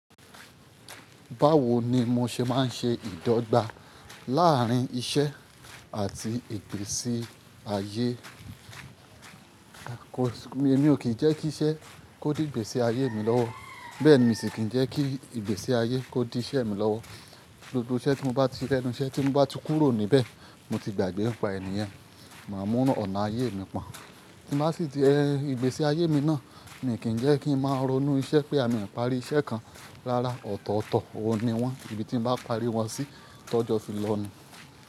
Báwo ni mo ṣe máa ń ṣe ìdọ́gba láàrín iṣẹ́ àti ìgbésí ayé? Èmi ò kì í jẹ́ kí iṣẹ́ kó di ìgbésí ayé mi lọ́wọ́. Bẹ́ẹ̀ ni mi sì kì í jẹ́ kí ìgbésí ayé kó di iṣẹ́ mi lọ́wọ́. Gbogbo iṣẹ́ tí mo bá ti se lẹ́nu, iṣẹ́ tí mo bá ti kúrò níbẹ̀, mo ti gbàgbé nipa niyen màá mú óna ayé mi pọ̀n. Tí mo bá sì di ẹ, ìgbésí ayé mi náà, mi ò kì í jẹ́ kí n máa ronú iṣẹ́ pé àmi ń parí iṣẹ́ kan rárá. Ọ̀tọ̀ọ̀tọ̀ ó ni wọ́n. Ìbí tí n bá parí wọ́n sí, tọ́jọ́ fi lọ ni.